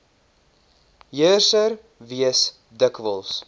heerser wees dikwels